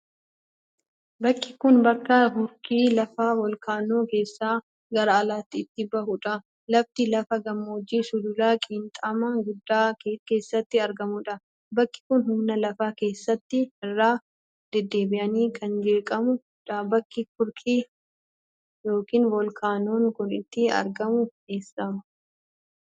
Bakki kun, bakka hurki lafa voolkaanoo keessa gara alaatti itti bahuu dha. Lafti lafa gammoojjii sulula qiinxamaa guddaa keessatti argamuu dha. Bakki kun, humna lafa keessaatin irra dedddeebiin kan jeeqamuu dha. Bakki hurki yokinvoolkaanoon kun itti argamu eessa?